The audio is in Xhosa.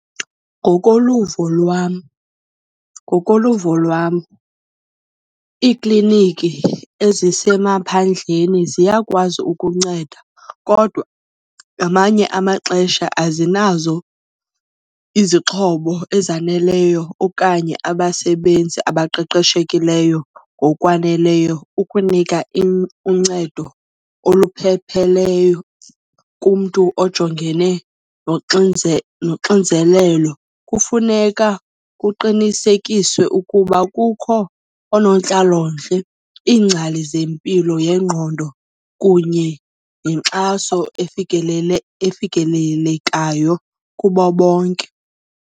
Ngokoluvo lwam ngokoluvo lwam, iikliniki ezisemaphandleni ziyakwazi ukunceda kodwa ngamanye amaxesha azinazo izixhobo ezaneleyo okanye abasebenzi abaqeqeshekileyo ngokwaneleyo ukunika uncedo olupheleleyo kumntu ojongene noxinzelelo. Kufuneka kuqinisekiswe ukuba kukho oonontlalontle, iingcali zempilo yengqondo kunye nenkxaso efikelelekayo kubo bonke.